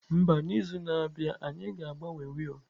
Mba, n'izu na-abịa anyị ga-agbanwe wiil.